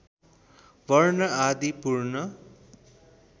वर्ण आदि पूर्ण